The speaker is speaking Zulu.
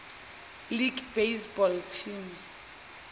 league baseball teams